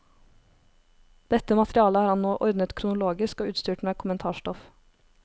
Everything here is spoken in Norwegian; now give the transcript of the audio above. Dette materialet har han nå ordnet kronologisk og utstyrt med kommentarstoff.